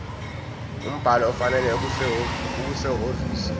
umbhalo ofanele okusehhovisi